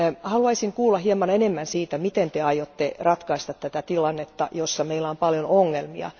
Haluaisin kuulla hieman enemmän siitä, miten Te aiotte ratkaista tämän tilanteen, jossa meillä on paljon ongelmia.